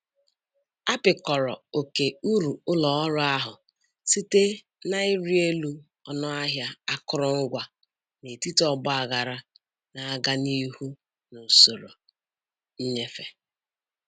Apịkọrọ oke uru ụlọ ọrụ ahụ site na ịrị elu ọnụ ahịa akụrụngwa n'etiti ọgbaghara na-aga n'ihu n'usoro nnyefe.